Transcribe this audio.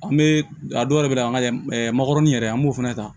An bɛ a dɔw yɛrɛ bɛ na an ka makɔrɔni yɛrɛ an b'o fana ta